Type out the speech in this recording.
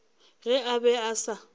ge a be a sa